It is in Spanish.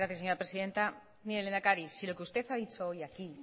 gracias señora presidente mire lehendakari si lo que usted ha dicho hoy aquí